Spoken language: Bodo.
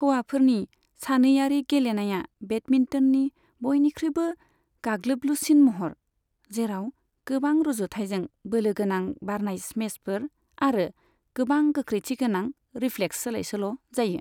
हौवाफोरनि सानैयारि गेलेनाया बेडमिन्टननि बयनिख्रुयबो गाग्लोबलुसिन महर, जेराव गोबां रुजुथायजों बोलोगोनां बारनाय स्मेशफोर आरो गोबां गोख्रैथिगोनां रिफ्लेक्स सोलायसोल' जायो।